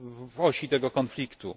w osi tego konfliktu.